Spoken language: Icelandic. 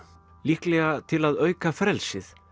líklega til að auka frelsið